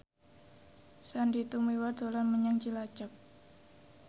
Sandy Tumiwa dolan menyang Cilacap